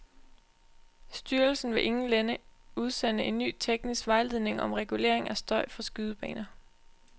Styrelsen vil inden længe udsende en ny teknisk vejledning om regulering af støj fra skydebaner.